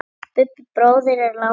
Hann Bubbi bróðir er látinn.